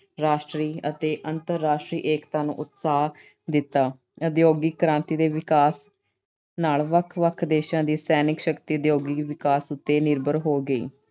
ਰਾਸ਼ਟਰੀ ਅਤੇ ਅੰਤਰਰਾਸ਼ਟਰੀ ਏਕਤਾ ਨੂੰ ਉਤਸਾਹ ਦਿੱਤਾ। ਉਦਯੋਗਿਕ ਕ੍ਰਾਂਤੀ ਦੇ ਵਿਕਾਸ ਨਾਲ ਵੱਖ-ਵੱਖ ਦੇਸ਼ਾਂ ਦੀ ਸੈਨਿਕ ਸ਼ਕਤੀ ਉਦਯੋਗਿਕ ਵਿਕਾਸ ਉਤੇ ਨਿਰਭਰ ਹੋ ਗਈ।